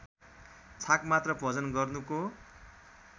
छाक मात्र भोजन गर्नुको